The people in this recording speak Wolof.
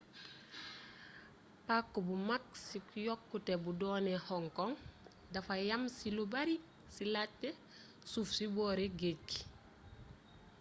pàcc bu mag c yokkute bu duni hong kong dafa yam ci lu bare ci laajte suuf ci boori géej gi